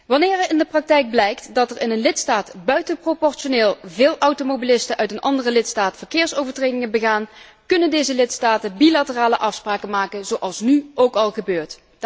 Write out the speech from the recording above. Wanneer in de praktijk blijkt dat er in een lidstaat buitenproportioneel veel automobilisten uit een andere lidstaat verkeersovertredingen begaan, kunnen deze lidstaten bilaterale afspraken maken zoals nu ook al gebeurt.